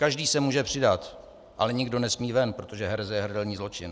Každý se může přidat, ale nikdo nesmí ven, protože hereze je hrdelní zločin.